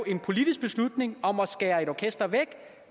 en politisk beslutning om at skære et orkester væk